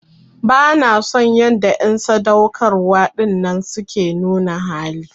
Bana son yanda en sadaukarwa dinnan suke nuna hali.